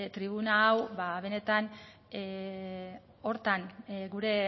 tribuna hau ba benetan horretan gure